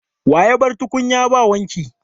Wa ya bar tukunyan ba wanki?